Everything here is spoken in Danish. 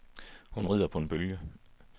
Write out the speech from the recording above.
Hun rider på en bølge.